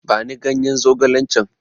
Bani ganye zogalen can!